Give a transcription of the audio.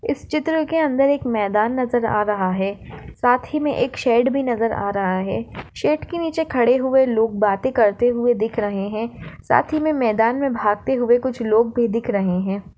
इस चित्र के अंदर एक मैदान नजर आ रहा है साथही मे एक शेड भी नजर आ रहा है शेड के नीचे खड़े हुए लोग बाते करते हुए दिख रहे है साथही मे मैदान मे भागते हुए कुछ लोग भी दिख रहे है।